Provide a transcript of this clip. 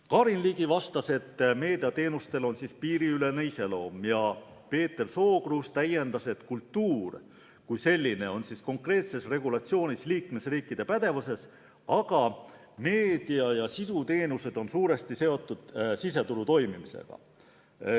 Karin Ligi vastas, et meediateenustel on piiriülene iseloom, ja Peeter Sookruus täiendas, et kultuur kui selline on konkreetses regulatsioonis liikmesriikide pädevuses, aga meedia- ja sisuteenused on suuresti seotud siseturu toimimisega.